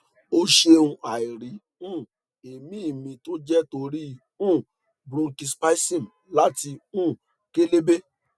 o ṣeun àìrí um emi mi tó jẹ́ torí um bronchi spasm láti um kélébé